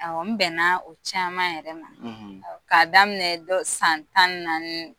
Awɔ, n bɛnna o caman yɛrɛ ma; Awɔ, K'a daminɛ dɔ san tan ni naani